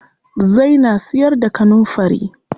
Zai na siyar da kanunfari.